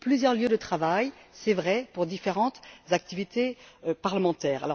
Plusieurs lieux de travail, c'est vrai, pour différentes activités parlementaires.